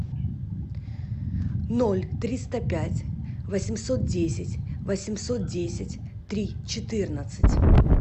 ноль триста пять восемьсот десять восемьсот десять три четырнадцать